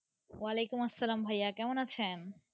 ওলেকুমসলাম আসলাম ভাইয়া কেমন আছে।